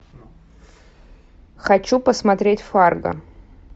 хочу посмотреть фарго